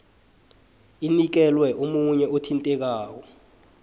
inikelwe omunye othintekako